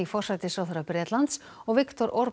forsætisráðherra Bretlands og Viktor